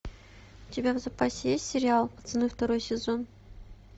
у тебя в запасе есть сериал пацаны второй сезон